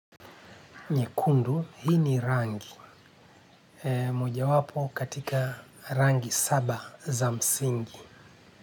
Nyekundu hii ni rangi. Moja wapo katika rangi saba za msingi.